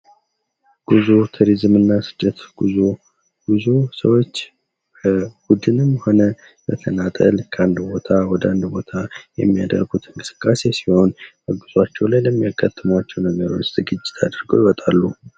ጉዞ ቱሪዝምና ስደት ጉዞ ብዙ ሰዎች በቡድንም ሆነ በተናጠል ከአንድ ቦታ ወደ ሌላ ቦታ የሚያደርጉት እንቅስቃሴ ሲሆን በጉዟቸው ላይ ለሚያጋጥማቸው ነገሮች ዝግጅት አድርገው ይወጣሉ።